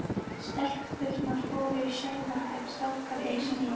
Stelpurnar fóru í sauma en strákarnir í smíðar.